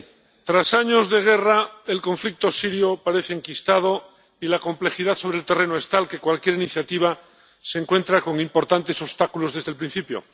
Señor presidente, tras años de guerra el conflicto sirio parece enquistado y la complejidad sobre el terreno es tal que cualquier iniciativa se encuentra con importantes obstáculos desde el principio.